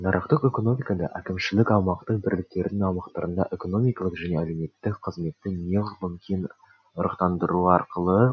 нарықтық экономикада әкімшілік аумақтық бірліктердің аумақтарында экономикалық және әлеуметтік қызметті неғұрлым ырықтандыру арқылы